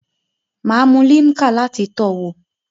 Maa mu Limca lati towo